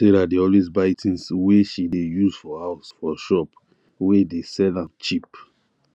sarah dey always buy things wey she dey use for house for shop wey dey sell am cheap